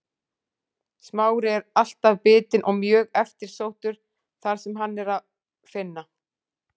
Smári er alltaf bitinn og mjög eftirsóttur þar sem hann er að finna.